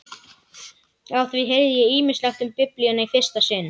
Á því heyrði ég ýmislegt um Biblíuna í fyrsta sinn.